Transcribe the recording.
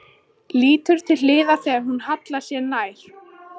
Álengdar stóð Binni Frank og reykti með óræðum svip.